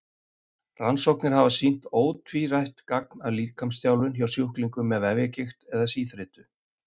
Rannsóknir hafa sýnt ótvírætt gagn af líkamsþjálfun hjá sjúklingum með vefjagigt eða síþreytu.